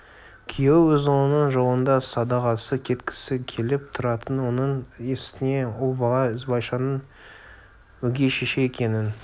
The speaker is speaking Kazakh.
күйеуі өз ұлының жолында садағасы кеткісі келіп тұратын оның үстіне ұл бала ізбайшаның өгей шеше екенін